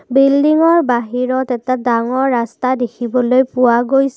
বিল্ডিংৰ বাহিৰত এটা ডাঙৰ ৰাস্তা দেখিবলৈ পোৱা গৈছে।